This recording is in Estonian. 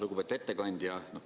Lugupeetud ettekandja!